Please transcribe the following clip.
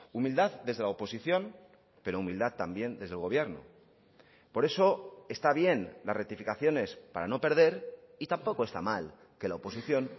humildad desde la oposición pero humildad también desde el gobierno por eso está bien las rectificaciones para no perder y tampoco está mal que la oposición